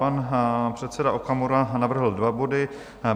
Pan předseda Okamura navrhl dva body.